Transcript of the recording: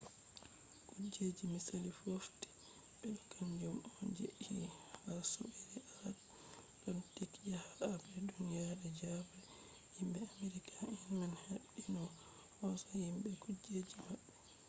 kuje misali fotti be ɗo kanjum on je fe’i ha soɓɓiireatalantik yake habre duniye je ɗiɗabre. himɓe amerika en man habdi no ɓe hosa himɓe be kujeji maɓɓe